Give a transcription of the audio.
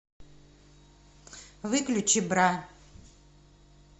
выключи бра